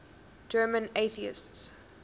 german atheists